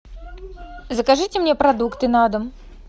закажите мне продукты на дом